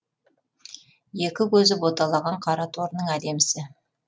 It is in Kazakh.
екі көзі боталаған қараторының әдемісі